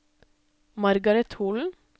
Margareth Holen